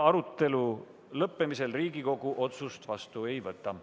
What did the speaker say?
Arutelu lõppemisel Riigikogu otsust vastu ei võta.